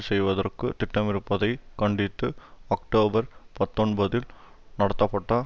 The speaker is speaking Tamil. செய்வதற்கு திட்டமிருப்பதைக் கண்டித்து அக்டோபர் பத்தொன்பதில் நடத்தப்பட்ட